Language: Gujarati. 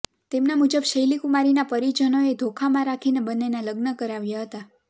તેમના મુજબ શૈલી કુમારીના પરિજનોએ ધોખામાં રાખીને બંનેના લગ્ન કરાવ્યા હતા